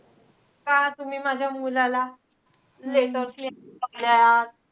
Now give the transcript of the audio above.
का तुम्ही माझ्या मुलाला letters लिहायला लावल्यात?